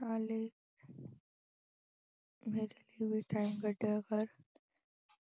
ਨਾਲੇ ਮੇਰੇ ਲਈ ਵੀ time ਕੱਢਿਆ ਕਰ